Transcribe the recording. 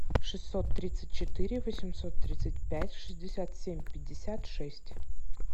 шестьсот тридцать четыре восемьсот тридцать пять шестьдесят семь пятьдесят шесть